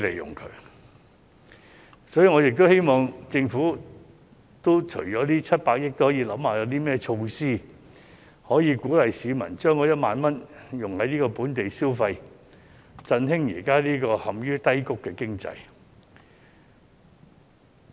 因此，我亦希望政府除了是撥出這700億元外，也要考慮有何措施可以鼓勵市民將1萬元花在本地消費上，以振興現時陷於低谷的經濟。